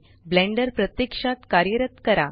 blender प्रत्यक्षात कार्यरत करा